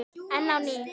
Enn á ný